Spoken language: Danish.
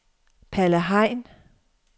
Palle Hein